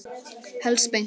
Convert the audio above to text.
Helst beint.